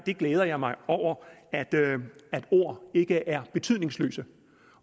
jeg glæder mig over at ord ikke er betydningsløse